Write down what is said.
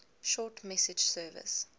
short message service